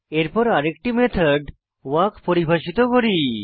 এরপর আরেকটি method walk পরিভাষিত করি